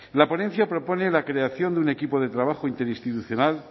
la ponencia propone la creación de un equipo de trabajo interinstitucional